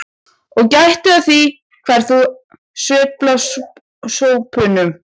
Og gættu að því hvar þú sveifla sópnum.